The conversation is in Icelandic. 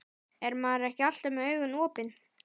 Er maður ekki alltaf með augun opin?